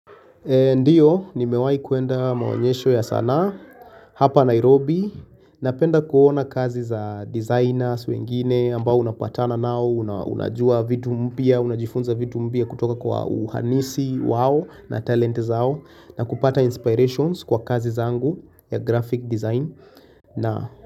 Ndiyo nimewai kuenda maonyesho ya sanaa hapa Nairobi Napenda kuona kazi za designers wengine ambao unapatana nao Unajua vitu mpya, unajifunza vitu mpya kutoka kwa uhanisi wao na talent zao na kupata inspirations kwa kazi zangu ya graphic design.